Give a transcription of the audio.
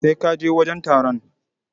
Sai ka je wajen taron.